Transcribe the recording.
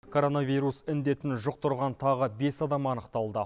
коронавирус індетін жұқтырған тағы бес адам анықталды